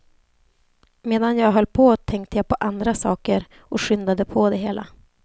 Medan jag höll på tänkte jag på andra saker och skyndade på det hela.